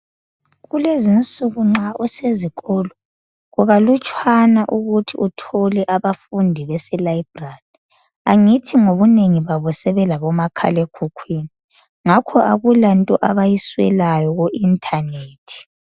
Kulezinsuku nxa usezikolo, kukalutshwana ukuthi uthole abafundi bese library ,angithi ngobunengi babo sebelabomakhalekhukhwini ngakho akulanto abayiswelayo ku internet